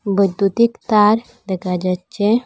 বৈদ্যুতিক তার দেখা যাচ্চে।